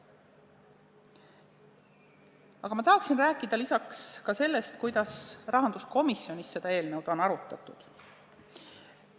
Aga ma tahan rääkida lisaks ka sellest, kuidas rahanduskomisjonis seda eelnõu on arutatud.